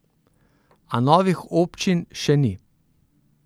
A novih občin še ni.